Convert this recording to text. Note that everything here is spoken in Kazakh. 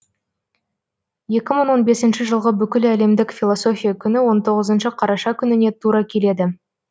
екі мың он бесінші жылғы бүкіләлемдік философия күні он тоғызыншы қараша күніне тура келеді